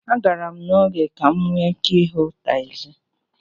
A gara m n'oge ka m nwee ike ịhụ tagzi.